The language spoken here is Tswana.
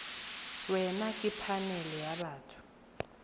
wena ke phanele ya batho